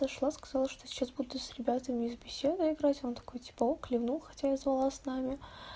зашла сказала что сейчас буду с ребятами из беседы играть он такой типа ок кивнул хотя я звала с нами